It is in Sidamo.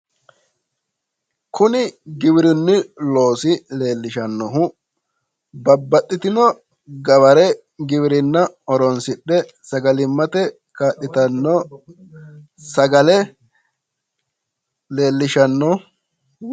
Kuni giwirinnu loosi leellishannohu babbaxitino gaware giwirinna horoonsidhe sagalimmate kaa'litanno sagale leellishanno.